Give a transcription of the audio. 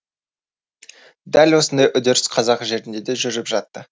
дәл осындай үдеріс қазақ жерінде де жүріп жатты